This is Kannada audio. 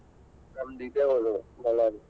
ನಮ್ಮದ್ ಇದೆ ಊರು Bellary .